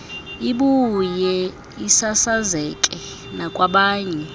ibuye isasazeke nakwabanye